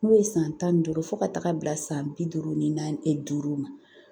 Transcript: N'o ye san tan ni duuru fɔ ka taga bila san bi duuru ni duuru ma